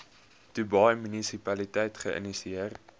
dubai munisipaliteit geïnisieer